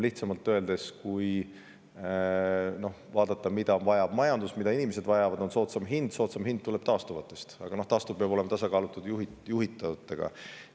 Lihtsamalt öeldes, kui vaadata, mida vajab majandus, mida inimesed vajavad, siis see on soodsam hind, aga soodsam hind tuleb taastuvatest ja need peavad olema tasakaalus juhitavate.